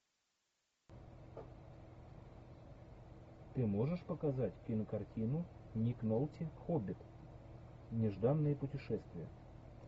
ты можешь показать кинокартину ник нолти хоббит нежданное путешествие